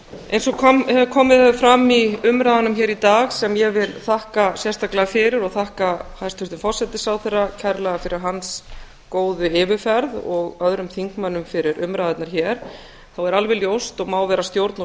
eins og komið hefur fram í umræðunum í dag sem ég vil þakka sérstaklega fyrir og þakka hæstvirtum forsætisráðherra kærlega fyrir hans góðu yfirferð og öðrum þingmönnum fyrir umræðurnar hér þá er alveg ljóst og má vera stjórn og